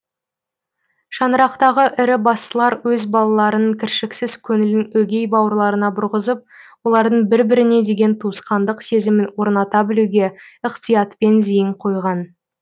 шаңырақтағы ірі бастылар өз балаларының кіршіксіз көңілін өгей бауырларына бұрғызып олардың бір біріне деген туысқандық сезімін орната білуге ықтиятпен зейін қойған